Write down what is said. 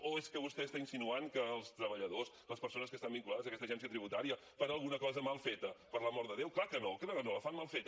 o és que vostè està insinuant que els treballadors les persones que estan vinculades a aquesta agència tributària fan alguna cosa mal feta per l’amor de déu clar que no clar que no la fan mal feta